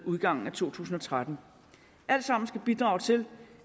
udgangen af to tusind og tretten alt sammen skal bidrage til